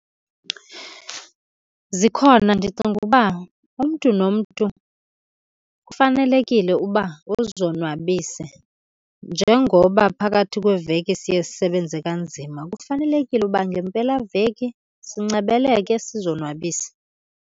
Zikhona, ndicinga uba umntu nomntu kufanelekile uba uzonwabise. Njengoba phakathi kweveki siye sisebenze kanzima kufanelekile uba ngempelaveki sincebeleke sizonwabise